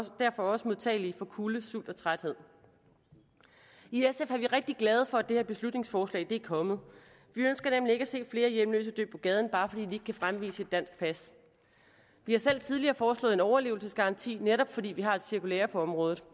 derfor også modtagelige for kulde sult og træthed i sf er vi rigtig glade for at det her beslutningsforslag er kommet vi ønsker nemlig ikke at se flere hjemløse dø på gaden bare fordi de ikke kan fremvise et dansk pas vi har selv tidligere foreslået en overlevelsesgaranti netop fordi vi har et cirkulære på området